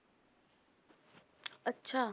ਅੱਛਾ।